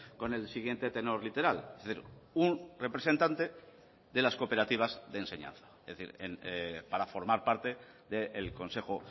con el siguiente tenor literalun representante de las cooperativas de enseñanza es decir para formar parte del consejo